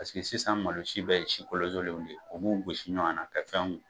Parceri que sisan malo si bɛɛ ye si kolozolen de ye u b'o gosisi ɲɔan na ka fɛnkuw kɛ